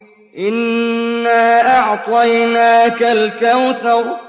إِنَّا أَعْطَيْنَاكَ الْكَوْثَرَ